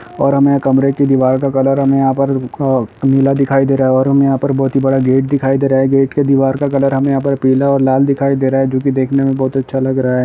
--और हमें यहाँ कमरे की दीवार का कलर हमें यहाँ पर अ नीला दिखाई दे रहा है और हमें यहांँ पर बहुत ही बड़ा गेट दिखाई दे रहा है गेट की दीवार का कलर हमें यहाँ पर पीला और लाल दिखाई दे रहा है जो की देखने में बहुत अच्छा लग रहा है।